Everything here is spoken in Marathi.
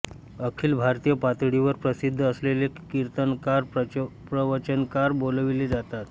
अखिल भारतीय पातळीवर प्रसिद्ध असलेले कीर्तनकार प्रवचनकार बोलाविले जातात